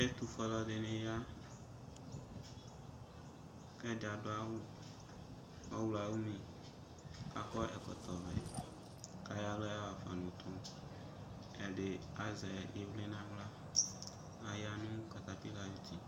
Ɛtʋfue alʋ ɛdɩnɩ ya, kɛdɩ adʋ awʋ ɔɣlɔayumi kakɔ ɛkɔtɔ vɛ, kayɔ aɣla yaɣafa nʋtʋ,ɛdɩ azɛ ɩvlɩ naɣla ,aya nʋ katapɩlayuti